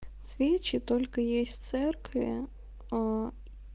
свечи только есть церкви аа